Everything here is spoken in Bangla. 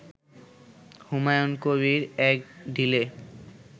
হুমায়ুন কবির এক ঢিলে